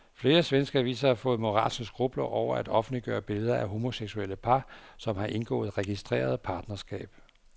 Flere svenske aviser har fået moralske skrupler over at offentliggøre billeder af homoseksuelle par, som har indgået registreret partnerskab.